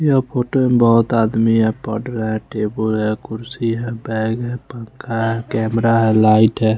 यह फोटो में बहोत आदमी है पढ़ रहा है टेबुल है कुर्सी है बैग है पंखा है कैमरा है लाइट है।